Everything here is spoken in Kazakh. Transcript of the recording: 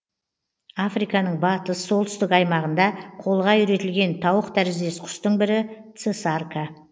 африканың батыс солтүстік аймағында қолға үйретілген тауық тәріздес құстың бірі цесарка